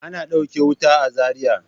Ana ɗauke wuta a Zariya.